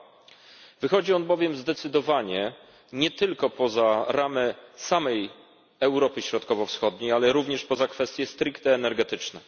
2. Wychodzi on bowiem zdecydowanie nie tylko poza ramy samej Europy Środkowo Wschodniej, ale również poza kwestie stricte energetyczne.